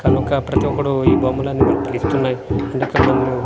కనుక ప్రతి ఒక్కడు ఈ బొమ్మలన్నీ మన పిలుస్తున్నాయ్ అంతకన్న ముందు--